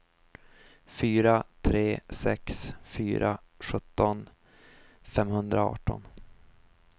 fyra tre sex fyra sjutton femhundraarton